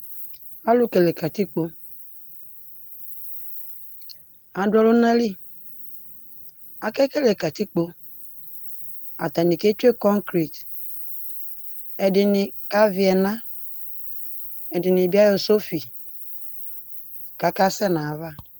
Alʋ kele katikpo, adʋ ɔlʋna li, akekele katikpo, atanɩ ketsue kɔkret, ɛdɩnɩ kavɩ ɛna, ɛdɩnɩ bɩ ayɔ sɔfɩ, kʋ akasɛ nʋ ayava